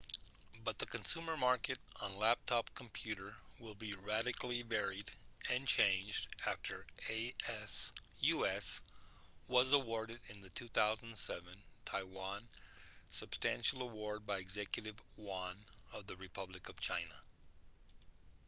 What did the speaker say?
but the consumer market on laptop computer will be radically varied and changed after asus was awarded in the 2007 taiwan sustainable award by executive yuan of the republic of china